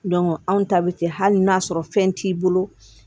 anw ta bɛ kɛ hali n'a sɔrɔ fɛn t'i bolo